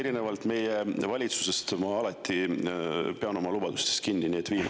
Erinevalt meie valitsusest ma alati pean oma lubadustest kinni.